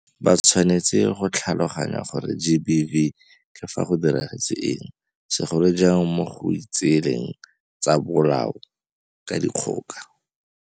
Ba tshwanetse go tlhaloganya gore GBV ke fa go diragetse eng, segolo jang mo go itseeleng tsa bolao ka dikgoka.